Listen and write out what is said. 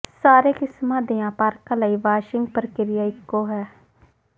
ਸਾਰੇ ਕਿਸਮ ਦੀਆਂ ਪਾਰਕਾਂ ਲਈ ਵਾਸ਼ਿੰਗ ਪ੍ਰਕਿਰਿਆ ਇੱਕੋ ਹੈ